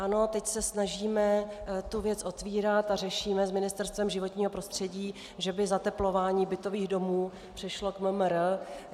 Ano, teď se snažíme tu věc otvírat a řešíme s Ministerstvem životního prostředí, že by zateplování bytových domů přešlo k MMR.